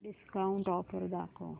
discount offer दाखव